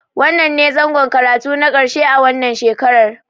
Wannnan ne zangon karatu na ƙarshe a wannan shekarar.